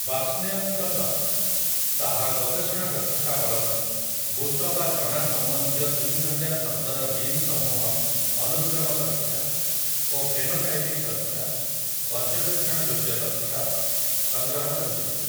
ବାର୍ଷ୍ଣେୟଙ୍କ ଦଳ, ତାହାର ଗବେଷଣା ଦକ୍ଷତା ବଳରେ, ବୁଟ ବା ଚଣା ସମ୍ବନ୍ଧୀୟ ତିନିହଜାର ଶବ୍ଦର ଜିନ୍‌ସମୂହ ଅନୁକ୍ରମ ତଥ୍ୟ ଓ ଫେନୋଟାଇପିକ୍ ତଥ୍ୟ, ପର୍ଯ୍ୟବେକ୍ଷଣ ଯୋଗ୍ୟ ତଥ୍ୟ, ସଂଗ୍ରହ କରିଛନ୍ତି ।